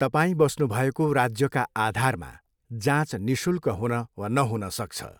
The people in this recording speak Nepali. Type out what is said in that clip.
तपाईँ बस्नुभएको राज्यका आधारमा जाँच निशुल्क हुन वा नहुन सक्छ।